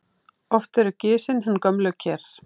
Oft eru gisin hin gömlu ker.